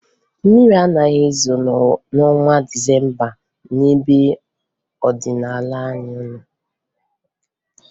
Mmiri anaghị ezo n'ọnwa Disemba n'ebe Ọdịdaanyaanwụ.